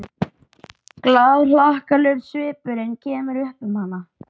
Glaðhlakkalegur svipurinn kemur upp um hana.